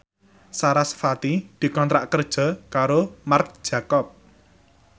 sarasvati dikontrak kerja karo Marc Jacob